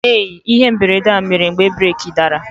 Ee, ihe mberede a mere mgbe breeki dara.